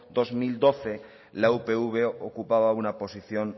dos mil doce la upv ocupaba una posición